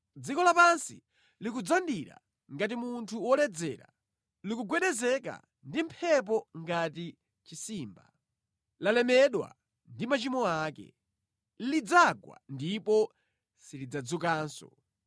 Dziko lapansi likudzandira ngati munthu woledzera likugwedezeka ndi mphepo ngati chisimba; lalemedwa ndi machimo ake. Lidzagwa ndipo silidzadzukanso.